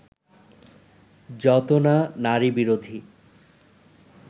যত না নারীবিরোধী